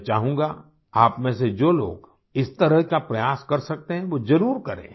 मैं चाहूँगा आपमें से जो लोग इस तरह का प्रयास कर सकते हैं वो ज़रूर करें